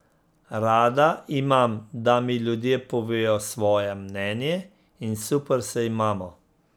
Rada imam, da mi ljudje povejo svoje mnenje, in super se imamo.